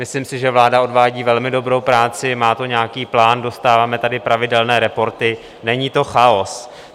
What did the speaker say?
Myslím si, že vláda odvádí velmi dobrou práci, má to nějaký plán, dostáváme tady pravidelné reporty, není to chaos.